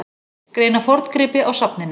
Greina forngripi á safninu